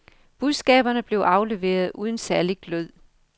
Budskaberne blev afleveret uden særlig glød.